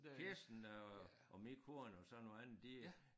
Kirsten og og min kone og så nogle andre de øh